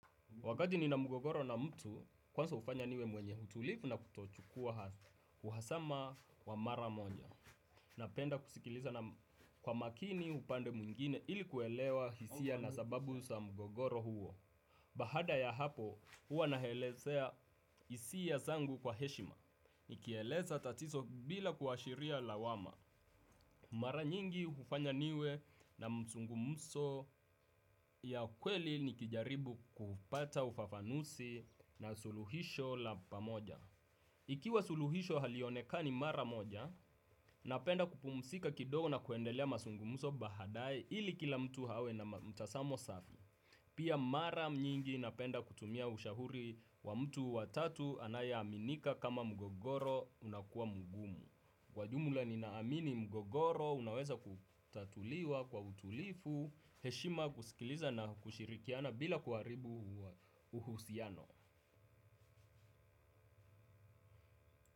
Wakati nina mgogoro na mtu kwanza hufanya niwe mwenye utulivu na kutochukua kuhasama wa mara moja na penda kusikiliza kwa makini upande mungine ili kuelewa hisia na sababu sa mugogoro huo. Baada ya hapo, huwa naelezea hisia zangu kwa heshima. Nikieleza tatizo bila kuashiria lawama. Mara nyingi hufanya niwe na msungumuso ya kweli nikijaribu kupata ufafanusi na suluhisho la pamoja. Ikiwa suluhisho halionekani mara moja, napenda kupumzika kidogo na kuendelea mazungumuzo baadaye ili kila mtu awe na mtazamo safi. Pia mara nyingi napenda kutumia ushauri wa mtu watatu anaye aminika kama mgogoro unakuwa mgumu. Kwa jumla ninaamini mgogoro unaweza kutatuliwa kwa utulivu, heshima kusikiliza na kushirikiana bila kuharibu uhusiano.